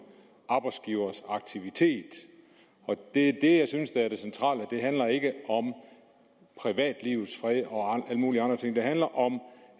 arbejdsgivers aktivitet det er det jeg synes er det centrale det handler ikke om privatlivets fred og mulige andre ting det handler om